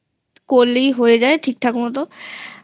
করলেই হয়ে যায় ঠিকঠাক মতো